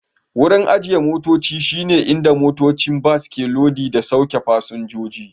Wurin ajiye motoci shi ne inda motocin bas ke lodi da sauke fasinjoji